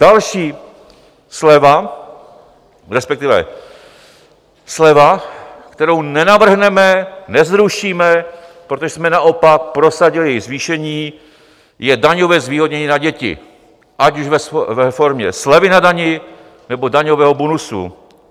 Další sleva, respektive sleva, kterou nenavrhneme, nezrušíme, protože jsme naopak prosadili její zvýšení, je daňové zvýhodnění na děti, ať už ve formě slevy na dani, nebo daňového bonusu.